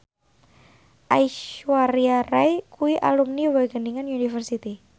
Aishwarya Rai kuwi alumni Wageningen University